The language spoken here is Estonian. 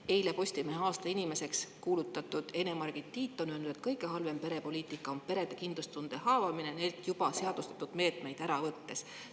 Eile Postimehe aasta inimeseks kuulutatud Ene-Margit Tiit on öelnud, et kõige halvem perepoliitika on perede kindlustunde haavamine neilt juba seadustatud meetmeid ära võttes.